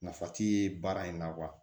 Nafa ti baara in na wa